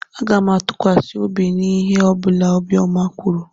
Aga m atụkwasị obi n'ihe ọ bụla Obiọma kwuru.